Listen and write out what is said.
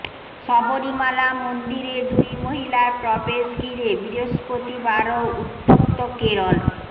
শবরীমালা মন্দিরে দুই মহিলার প্রবেশ ঘিরে বৃহস্পতিবারও উত্তপ্ত কেরল